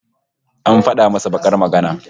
An fada masa bakar magana